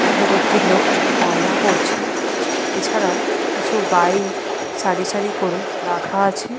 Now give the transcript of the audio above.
এবং একটি লোক রান্না করছে। এছাড়াও কিছু বাইক সারি সারি করে রাখা আছে।